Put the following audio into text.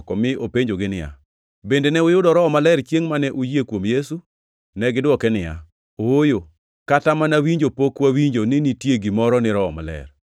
mi openjogi niya, “Bende ne uyudo Roho Maler chiengʼ mane uyie kuom Yesu?” Negidwoke niya, “Ooyo, kata mana winjo pok wawinjo ni nitie gimoro ni Roho Maler.”